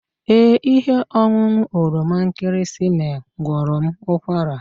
Ee, ihe ọṅụṅụ oroma nkịrịsịmee gwọrọ m ụkwara